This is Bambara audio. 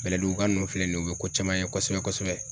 Bɛlɛduguka nunnu filɛ nin ye , u be ko caman ye kosɛbɛ kosɛbɛ.